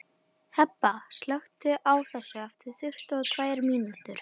Hebba, slökktu á þessu eftir tuttugu og tvær mínútur.